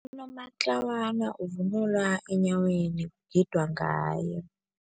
Unomatlawana uvunulwa enyaweni, kugidwa ngaye.